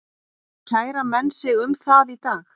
Kæra menn sig um það í dag?